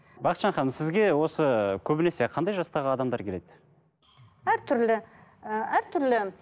бақытжан ханым сізге осы көбінесе қандай жастағы адамдар келеді әртүрлі ы әртүрлі